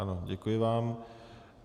Ano, děkuji vám.